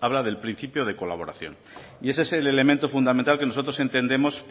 habla del principio de colaboración y ese es el elemento fundamental que nosotros entendemos